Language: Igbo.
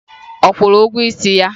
Ọ kwụrụ ụgwọ isi ya?